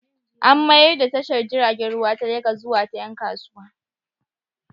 An mayar da tashar jiragen ruwa ta Legas zuwa ta ƴan kasuwa.